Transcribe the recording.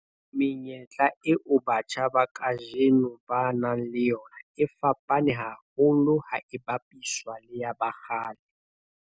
Menyetla eo batjha ba kajeno ba nang le yona e fapane haholo ha e bapiswa le ya ba kgale.